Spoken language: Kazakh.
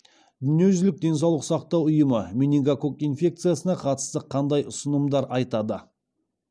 дүниежүзілік денсаулық сақтау ұйымы менингококк инфекциясына қатысты қандай ұсынымдар айтады